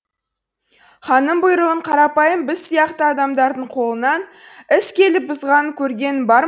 ханның бұйрығын қарапайым біз сияқты адамдардың қолынан іс келіп бұзғаның көргенің бар